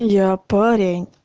я парень